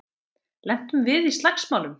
Lentum við í slagsmálum?